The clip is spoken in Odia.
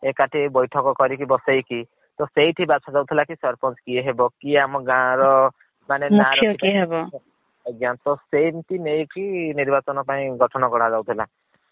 ଏକାଠି ହେଇ ବୈଠକ କରିକି ବସେଇକୀ ତ ସେଇଠି ବଛା ଯାଉଥିଲା କି ସରପନଚ୍ କିଏ ହେବ କିଏ ଆମ ଗାଁ ର ମୁଖ୍ୟ କିଏ ହେବ। ଆଜ୍ଞା ତ ସେମିତି ନେଇକି ନିର୍ବାଚନ ପାଇଁ କି ଗଠନ କରା ଯାଉଥିଲା